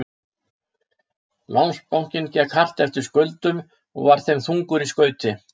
Landsbankinn gekk hart eftir skuldum og var þeim þungur í skauti.